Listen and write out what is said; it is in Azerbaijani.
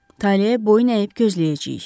Taleyə boyun əyib gözləyəcəyik.